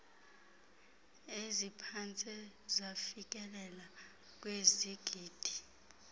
eziphantse zafikelela kwizigidi